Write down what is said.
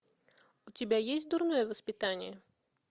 у тебя есть дурное воспитание